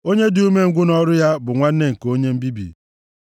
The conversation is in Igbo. Onye dị umengwụ nʼọrụ ya bụ nwanne nke onye mbibi.